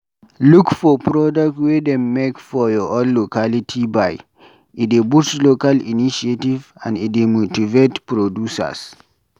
Look for product wey dem make for your own locality buy, e dey boost local initiative and e dey motivate producers